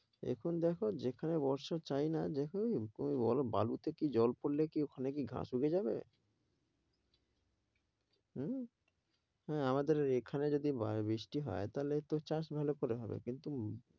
এখন দেখো যেখানে বর্ষা চাইনা দেখনি এমন করে বালুতে কি জল পরলে ওখানে কি ঘাস ওঠে যাবে? হম হ্যাঁ আমাদের এখানে যদি বৃষ্টি হয় তাহলে চাষ ভাল করে হবে কিন্তু